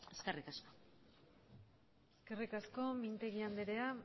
eskerrik asko eskerrik asko mintegi andrea